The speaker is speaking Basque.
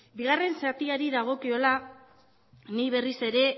bigarren zatiari dagokiola ni berriz ere